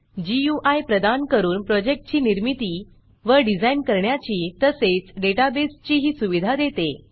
गुई प्रदान करून प्रोजेक्टची निर्मिती व डिझाईन करण्याची तसेच डेटाबेसेसचीही सुविधा देते